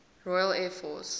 royal air force